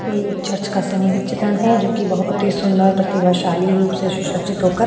यह एक चर्च का सामूहिक चित्रण है जोकि बहुत ही सुंदर प्रतिभाशाली रूप से सुसर्जित होकर --